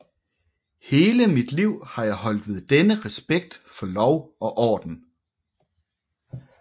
Hele mit liv har jeg holdt ved denne respekt for lov og orden